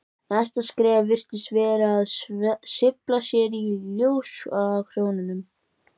Næsta skref virtist vera að sveifla sér í ljósakrónunum.